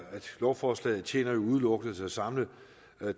lovforslaget tjener udelukkende til at samle